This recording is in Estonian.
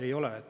Ei ole.